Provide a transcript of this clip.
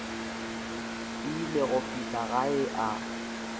ile go fihla gae a